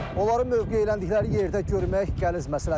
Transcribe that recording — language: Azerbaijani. Onların mövqeləndikləri yerdə görmək qəliz məsələdir.